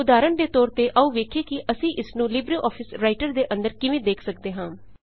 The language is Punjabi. ਉਦਾਹਰਣ ਦੇ ਤੌਰ ਤੇ ਆਉ ਵੇਖੀਏ ਕਿ ਅਸੀਂ ਇਸਨੂੰ ਲਿਬ੍ਰੇ ਆਫਿਸ ਰਾਈਟਰ ਦੇ ਅੰਦਰ ਕਿਵੇਂ ਵੇਖ ਸੱਕਦੇ ਹਾਂ